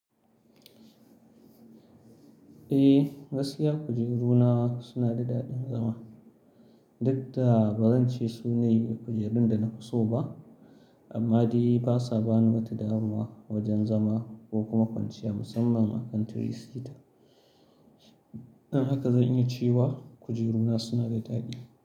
Eh, gaskiya kujeru na suna da daɗin zama. Duk da ba zan ce su ne kujerun da na fi so ba, amma dai basa bani wata damuwa wajen zama ko kuma kwanciya musamman a kan tiri sita. Haka zan iya cewa kujeru na suna da daɗi.